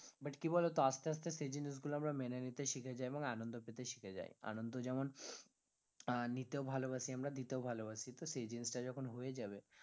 But কি বলতো আস্তে আস্তে আমরা সেই জিনিসগুলো মেনে নিতে শিখে যাই এবং আনন্দ পেতে শিখে যাই আনন্দ যেমন আহ নিতে ভালোবাসি আমরা দিতেও ভালোবাসি তো সেই জিনিসটা যখন হয়ে যাবে